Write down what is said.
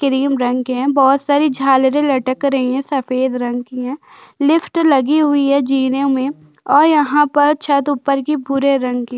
cream रंग के है बोहत सारे झालरे लटक रही है सफेद रंग कि है लिफ्ट लगी हुई है जिन मे और यहाँ पर छत ऊपर कि भुरे रंग कि--